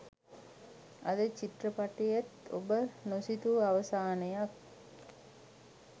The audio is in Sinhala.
අද චිත්‍රපටයේත් ඔබ නොසිතූ අවසානයක්